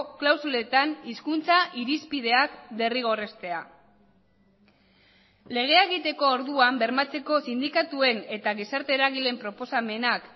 klausuletan hizkuntza irizpideak derrigorreztea legea egiteko orduan bermatzeko sindikatuen eta gizarte eragileen proposamenak